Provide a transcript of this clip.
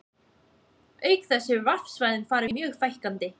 Auk þess hefur varpsvæðum farið mjög fækkandi.